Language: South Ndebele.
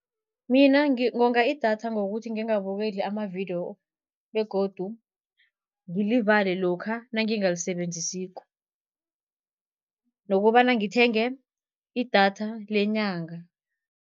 Mina ngonga idatha ngokuthi ngingabukeli amavidiyo begodu ngilivale lokha nangingalisebenzisiko. Nokobana ngithenge idatha lenyanga.